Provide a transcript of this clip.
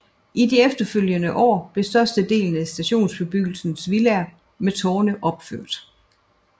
I de efterfølgende år blev størstedelen af stationsbebyggelsens villaer med tårne opført